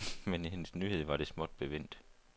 Med hendes nyhed var det småt bevendt.